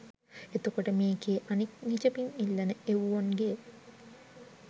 එතකොට මේකේ අනික් නිජබිම් ඉල්ලන එව්වොන්ගේ